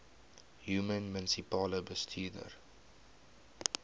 human munisipale bestuurder